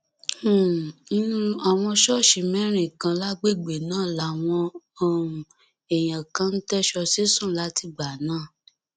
um inú àwọn ṣọọṣì mẹrin kan lágbègbè náà làwọn um èèyàn kan ń tẹsọ sí sùn látìgbà náà